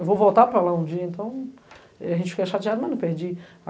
Eu vou voltar para lá um dia, então eh, a gente fica chateado, mas não perdi.